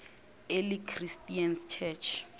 early christian church